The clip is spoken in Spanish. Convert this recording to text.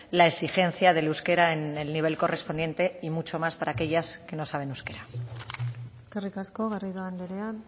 la exigencia del euskera en el nivel correspondiente y mucho más para aquellas que no saben euskera eskerrik asko garrido andrea